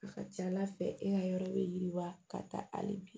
A ka ca ala fɛ e ka yɔrɔ be yiriwa ka taa hali bi